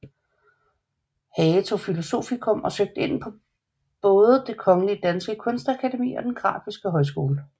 Hage tog filosofikum og søgte ind på både Det Kongelige Danske Kunstakademi og Den Grafiske Højskole